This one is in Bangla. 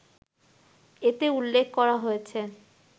এতে উল্লেখ করা হয়েছে